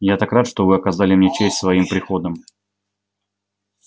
я так рад что вы оказали мне честь своим приходом